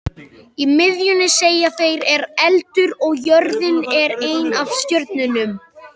Í miðjunni, segja þeir, er eldur og jörðin er ein af stjörnunum.